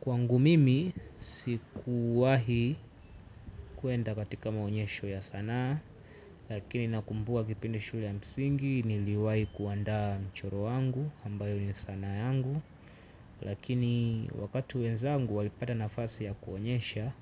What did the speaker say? Kwangu mimi sikuwahi kwenda katika maonyesho ya sanaa. Lakini nakumbuka kipindi shule ya msingi niliwahi kuandaa mchoro wangu ambayo ni sanaa yangu. Lakini wakati wenzangu walipata nafasi ya kuonyesha